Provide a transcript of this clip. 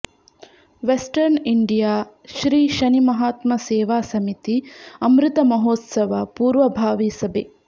western India Shri Shanimahatma ಸೇವಾ ಸಮಿತಿ ಅಮೃತಮಹೋತ್ಸವ ಪೂರ್ವಭಾವಿ ಸಭೆ